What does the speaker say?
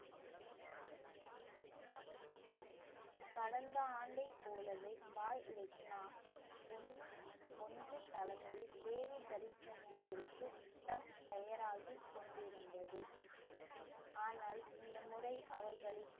கடந்த ஆண்டைப் போலவே பாய் லெக்னா ஒண்ணு ஒன்று தலைமையில் தேவி தரிசனத்திற்கு தயாராகி கொண்டிருந்தது ஆனால் இந்த முறை அவர்களின்